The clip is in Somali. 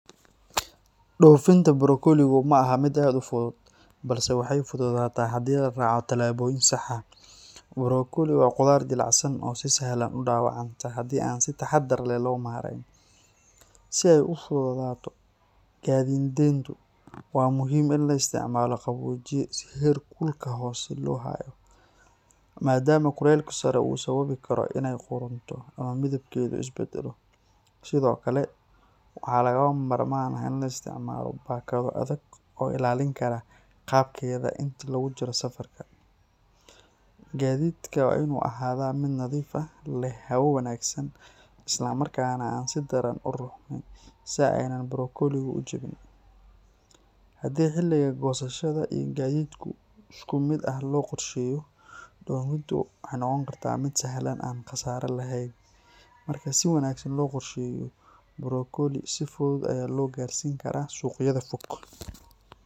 Dhoofinta brokoligu ma aha mid aad u fudud, balse waxay fududaataa haddii la raaco tallaabooyin sax ah. Brokoli waa khudaar jilicsan oo si sahlan u dhaawacanta haddii aan si taxaddar leh loo maareyn. Si ay u fududaato gaadiidinteedu, waxaa muhiim ah in la isticmaalo qaboojiye si heerkulka hoose loogu hayo, maadaama kulaylka sare uu sababi karo inay qudhunto ama midabkeedu is beddelo. Sidoo kale, waxaa lagama maarmaan ah in la isticmaalo baakado adag oo ilaalin kara qaabkeeda inta lagu jiro safarka. Gaadiidka waa in uu ahaadaa mid nadiif ah, leh hawo wanaagsan, isla markaana aan si daran u ruxmin si aanay brokoligu u jabin. Haddii xilliga goosashada iyo gaadiidku si isku mid ah loo qorsheeyo, dhoofintu waxay noqon kartaa mid sahlan oo aan khasaare lahayn. Marka si wanaagsan loo qorsheeyo, brokoli si fudud ayaa loo gaarsiin karaa suuqyada fog.